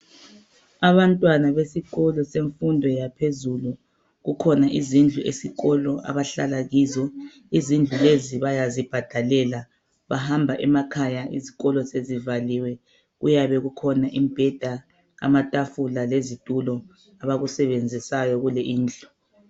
Abantwana besikolo semfundo yaphezulu kukhona izindlu esikolo abahlala kizo izindlu lezi bayazibhadalela bahamba emakhaya izikolo sezivaliwe bekukhona imibheda lamatafula lezitulo abakusebenzisayo kule indlu.